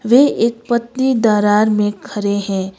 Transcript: वे एक पतली दरार में खरे हैं।